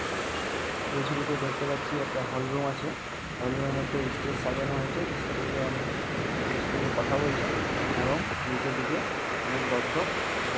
এই ছবিতে দেখতে পাচ্ছি একটি হলরুম আছে। হলরুম -এর মধ্যে ইস্টেজ সাজানো হয়েছে। ইস্টেজে কথা বলছে এবং নিচের দিকে অনেক দর্শক ব-- ।